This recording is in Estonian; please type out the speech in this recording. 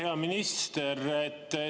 Hea minister!